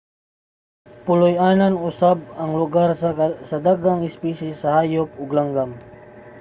puloy-anan usab ang lugar sa daghang espisye sa hayop ug langgam